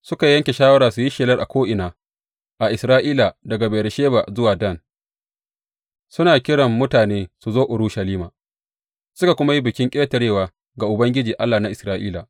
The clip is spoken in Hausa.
Suka yanke shawara su yi shelar a ko’ina a Isra’ila, daga Beyersheba zuwa Dan, suna kiran mutane su zo Urushalima, suka kuma yi Bikin Ƙetarewa ga Ubangiji Allah na Isra’ila.